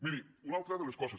miri una altra de les coses